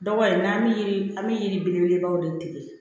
Dɔgɔ in na an bɛ yiri an bɛ yiri belebelebaw de tigɛ